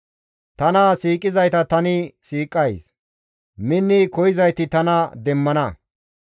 Tana siiqizayta tani siiqays; minni koyzayti tana demmana.